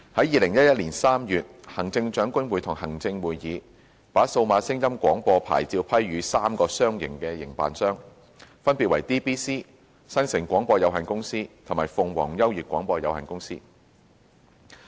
2011年3月，行政長官會同行政會議把數碼廣播牌照批予3個商營營辦商，分別為 DBC、新城廣播有限公司及鳳凰優悅廣播有限公司。